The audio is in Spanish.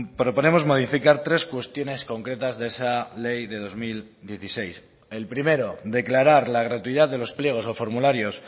proponemos modificar tres cuestiones concretas de esa ley de dos mil dieciséis el primero declarar la gratuidad de los pliegos o formularios